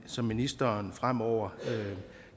som ministeren fremover